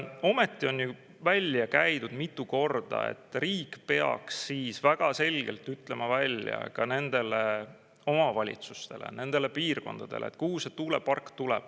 Ometi on välja käidud mitu korda, et riik peaks siis väga selgelt ütlema välja ka nendele omavalitsustele, nendele piirkondadele, kuhu see tuulepark tuleb.